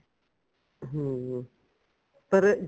ਹਮ ਪਰ